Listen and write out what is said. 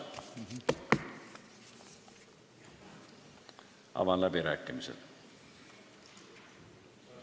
Avan läbirääkimised.